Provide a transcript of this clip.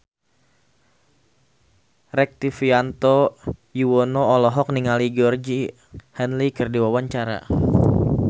Rektivianto Yoewono olohok ningali Georgie Henley keur diwawancara